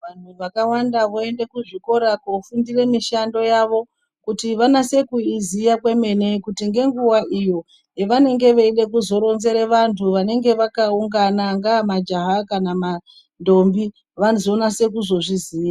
Vantu vakawanda voenda kuzvikora kofundire mishando yavo kuti vanase kuiziya kwemene, kuti ngenguwa iyo yevanenge veizode kuzoronzere vantu vanenge vakaunana angaa majaha kana mandombi, vanozonase kuzozviziya.